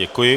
Děkuji.